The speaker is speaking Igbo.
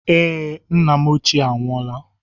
Ee, nne m ochie anwụọla.